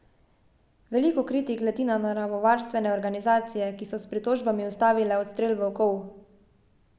Veliko kritik leti na naravovarstvene organizacije, ki so s pritožbami ustavile odstrel volkov.